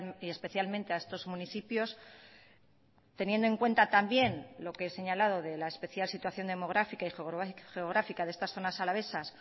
y especialmente a estos municipios teniendo en cuenta también lo que he señalado de la especial situación demográfica y geográfica de estas zonas alavesas